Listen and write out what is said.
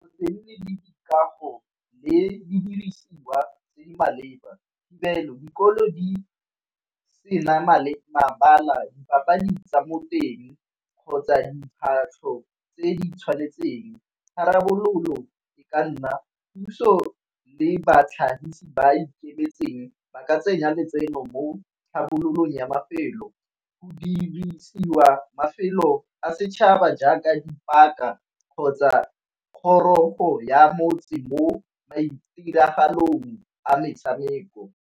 E nne le dikago le di dirisiwa tse di maleba dikolo di sena mabala papadi tsa moteng kgotsa diphahlo tse di tshwanetseng. Tharabololo e ka nna puso le batlhagisi ba ikemetseng ba ka tsenya letseno mo tlhabololong ya mafelo, go dirisiwa mafelo a setšhaba jaaka dipaka kgotsa kgorogo ya motse mo maitiragalong a metshameko.